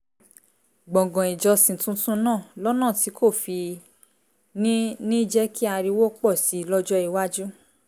gbọ̀ngàn ìjọsìn tuntun náà lọ́nà tí kò fi ní ní jẹ́ kí ariwo pọ̀ sí i lọ́jọ́ iwájú